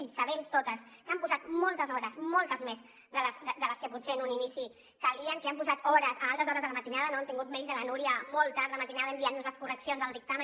i sabem totes que hi han posat moltes hores moltes més de les que potser en un inici calien que hi han posat hores a altes hores de la matinada no hem tingut almenys la núria molt tard de matinada enviant nos les correccions del dictamen